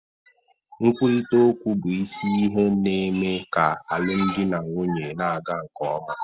Nkwurịta okwu bụ isi ihe na-eme ka alụmdi na nwunye na-aga nke ọma.